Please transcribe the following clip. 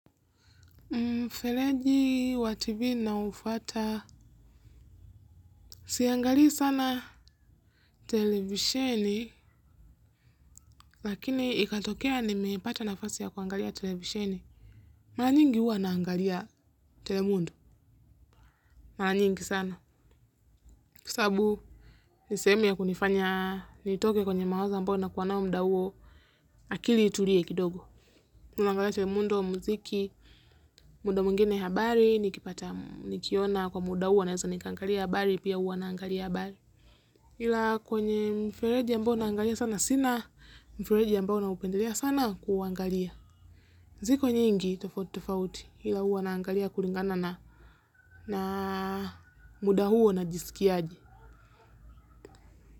Mfereji wa tv naufuata, siangalii sana televisheni, lakini ikatokea nimepata nafasi ya kuangalia televisheni. Mara nyingi huwa naangalia telemundo, mara nyingi sana. Kwa sababu, ni sehemu ya kunifanya, nitoke kwenye mawazo ambayo nakuwa nayo muda huo, akili itulie kidogo. Nangalia telemundo, muziki, muda mwingine habari, nikiona kwa muda huo, naweza nikaangalia habari, pia huwa naangalia habari. Ila kwenye mfereji ambao naangalia sana sina mfereji ambao naupendelea sana kuangalia ziko nyingi tofauti tofauti ila huwa naangalia kulingana na na muda huo najisikiaje.